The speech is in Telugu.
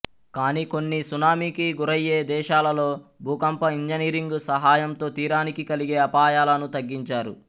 కాని కొన్ని సునామికి గురయ్యే దేశాలలో భూకంప ఇంజనీరింగ్ సహాయంతో తీరానికి కలిగే అపాయలను తగ్గించారు